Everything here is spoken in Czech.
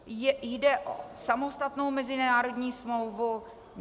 Jde o samostatnou mezinárodní smlouvu.